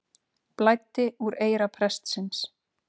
Blæddi úr eyra prestsins